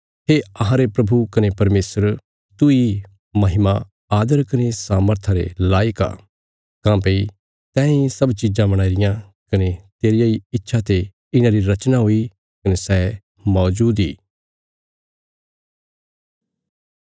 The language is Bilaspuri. हे अहांरे प्रभु कने परमेशर तूई महिमा आदर कने सामर्था रे लायक आ काँह्भई तैंई सब चिज़ां बणाई रियां कने तेरिया इ इच्छा ते इन्हांरी रचना हुई कने सै मौजूद इ